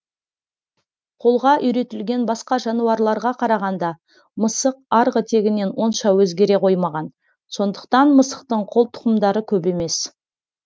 қолға үйретілген басқа жануарларға қарағанда мысық арғы тегінен онша өзгере қоймаған сондықтан мысықтың қолтұқымдары көп емес